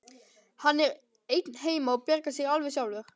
Hann er einn heima og bjargar sér alveg sjálfur.